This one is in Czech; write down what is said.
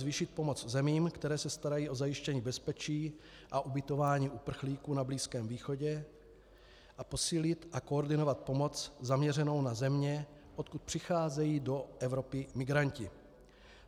Zvýšit pomoc zemím, které se starají o zajištění bezpečí a ubytování uprchlíků na Blízkém východě, a posílit a koordinovat pomoc zaměřenou na země, odkud přicházejí do Evropy migranti.